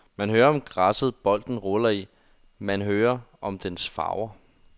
Man hører om græsset bolden ruller i, man hører om dens farver.